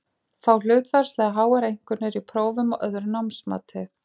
Fá hlutfallslega háar einkunnir í prófum og öðru námsmati.